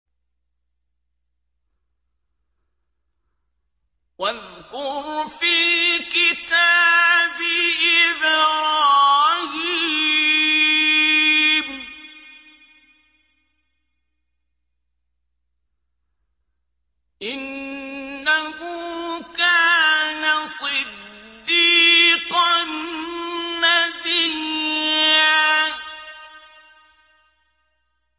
وَاذْكُرْ فِي الْكِتَابِ إِبْرَاهِيمَ ۚ إِنَّهُ كَانَ صِدِّيقًا نَّبِيًّا